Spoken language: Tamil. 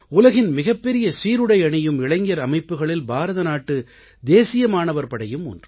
உலகின் மிகப்பெரிய சீருடை அணியும் இளைஞர் அமைப்புக்களில் பாரதநாட்டு தேசிய மாணவர் படையும் ஒன்று